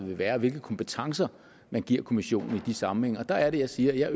vil være og hvilke kompetencer man giver kommissionen i de sammenhænge og der er det jeg siger at jeg